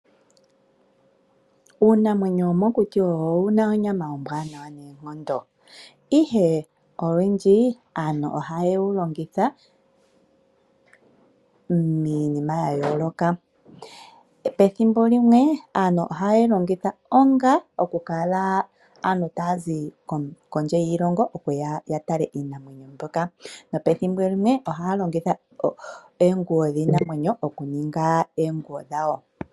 Uunamwenyo womokuti owu na onyama ombwanawa noonkondo, ihe olwindji aantu ohaye wu longitha miinima ya yooloka. Pethimbo limwe aantu ohaye yi longitha onga okukala aantu taa zi kondje yiilongo okuya ya tale iinamwenyo mbyoka, nopethimbo limwe ohaa longitha iipa yiinamwenyo okuninga oonguwo dhawo.